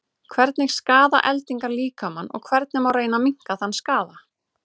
hvernig skaða eldingar líkamann og hvernig má reyna að minnka þann skaða